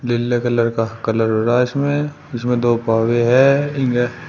नील्ले colour का colour हो रहा है इसमें इसमें दो पाव भी है।